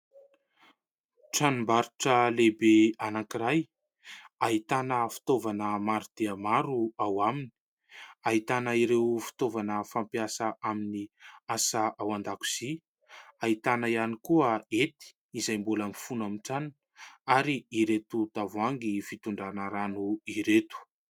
Tranom-barotra lehibe anankiray ahitana fitaovana maro dia maro ao aminy, ahitana ireo fitaovana fampiasa amin'ny asa ao an-dakozia, ahitana ihany koa hety izay mbola mifono amin'ny tranony ary ireto tavoahangy fitondrana rano ireto.